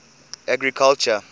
agriculture